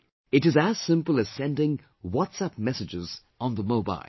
It is as simple as sending WhatsApp messages on the mobile